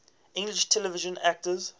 english television actors